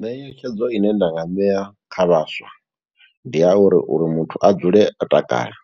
Netshedzo ine nda nga ṋea kha vhaswa, ndi a uri uri muthu a dzule o takala.